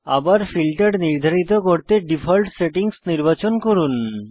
আবার ফিল্টার নির্ধারিত করতে ডিফল্ট সেটিংস নির্বাচন করুন